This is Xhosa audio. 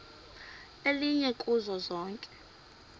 elinye kuzo zonke